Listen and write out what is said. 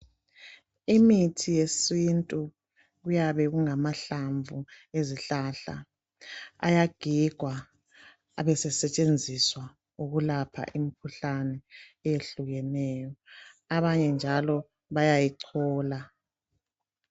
Imithi yesintu kuyabe kungamahlamvu ezihlahla ayagigwa abe sesetshenziswa ukulapha imkhuhlane ehlukeneyo. Abanye njalo bayayichola.